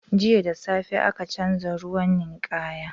Jiya da safe aka canza ruwan ninkaya.